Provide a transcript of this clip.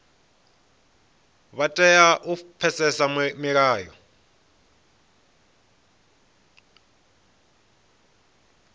vha tea u pfesesa milayo